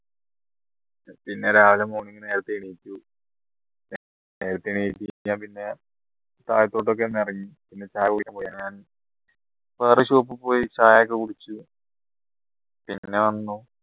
പിന്നെ രാവിലെ നേരത്തെ എണീച്ച് ഞാൻ പിന്നെ താഴത്തോട്ട് ഒക്കെ ഒന്നിറങ്ങി പിന്നെ ചായ കുടിക്കാൻ പോയി അങ്ങനെ വേറെ shop പോയി ചായയൊക്കെ കുടിച്ച് പിന്നെ വന്നു